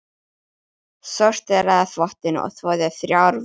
Sorteraði þvottinn og þvoði þrjár vélar.